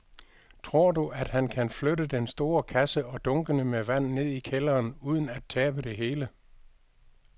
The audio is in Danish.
Tror du, at han kan flytte den store kasse og dunkene med vand ned i kælderen uden at tabe det hele?